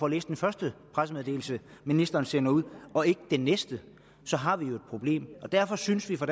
læst den første pressemeddelelse ministeren sender ud og ikke den næste så har vi jo et problem derfor synes vi fra